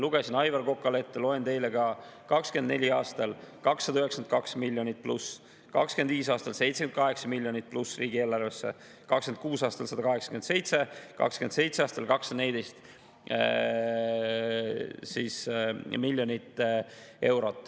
Lugesin Aivar Kokale ette, loen teile ka: 2024. aastal 292 miljonit plussi, 2025. aastal 78 miljonit plussi riigieelarvesse, 2026. aastal 187 miljonit, 2027. aastal 214 miljonit eurot.